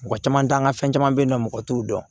Mɔgɔ caman t'an ka fɛn caman be yen nɔ mɔgɔ t'u dɔn